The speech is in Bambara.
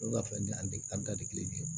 Olu ka fɛn an da tɛ kelen ye